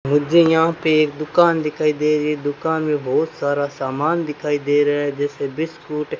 मुझे यहां पे एक दुकान दिखाई दे रही है दुकान मे बहोत सारा समान दिखाई दे रहे है जैसे बिस्कुट --